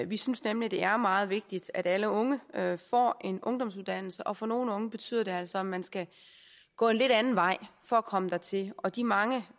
vi synes nemlig det er meget vigtigt at alle unge får en ungdomsuddannelse og for nogle unge betyder det altså at man skal gå en lidt anden vej for at komme dertil og de mange